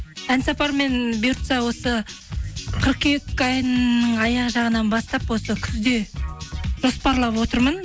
ән сапармен бұйыртса осы қыркүйек айының аяқ жағынан бастап осы күзде жоспарлап отырмын